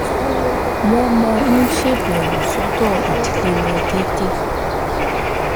wọ́n máa ń ṣèbẹ̀wò sọ́dọ̀ ìdílé wọn déédéé